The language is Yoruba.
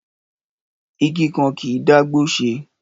Ìgí kàn ki ń dà gbò sẹ